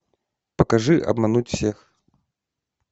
покажи обмануть всех